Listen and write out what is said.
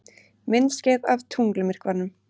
Myndskeið af tunglmyrkvanum